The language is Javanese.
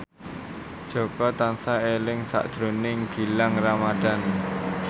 Jaka tansah eling sakjroning Gilang Ramadan